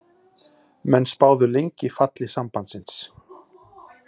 Menn spáðu lengi falli Sambandsins